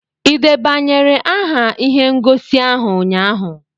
Ị debanyere aha ihe ngosi ahụ ụnyaahụ?